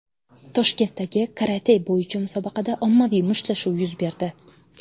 Toshkentdagi karate bo‘yicha musobaqada ommaviy mushtlashuv yuz berdi.